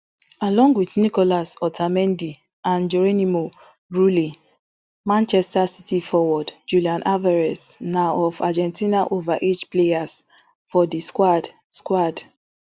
along wit nicolas otamendi and geronimo rulli manchester city forward julian alvarez na of argentina overage players for di squad squad